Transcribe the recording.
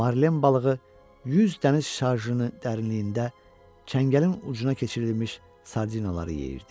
Marlen balığı 100 dəniz şarjını dərinliyində çəngəlin ucuna keçirilmiş sardinaları yeyirdi.